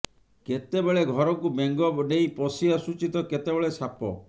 କେତେବେଳେ ଘରକୁ ବେଙ୍ଗ ଡେଇଁ ପଶି ଆସୁଛି ତ କେତେବେଳେ ସାପ